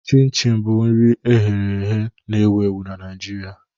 Chin Chin bụ nri eghe na-ewu ewu na Naịjirịa.